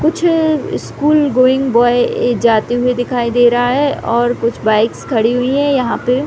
कुछ school going boy जाते हुए दिखाई दे रहा है और कुछ बाइक्स खड़ी हुई है यहाँ पे--